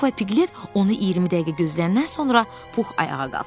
Puh və Piqlet onu 20 dəqiqə gözləyəndən sonra Puh ayağa qalxdı.